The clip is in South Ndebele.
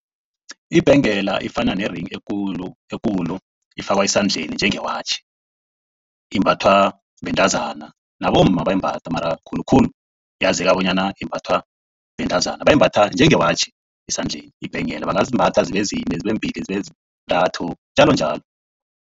Ibhengela ifana ne-ring ekulu. Ifakwa esandleni njengewatjhi. Imbathwa bentazana nabomma bayayimbatha. Mara khulukhulu yazeka bonyana imbathwa bentazana. Bayimbatha njengewatjhi esandleni ibhengela. Bangazimbatha zibe zine, zibe mbili, zibe njalonjalo.